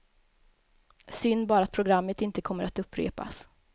Synd bara att programmet inte kommer att upprepas.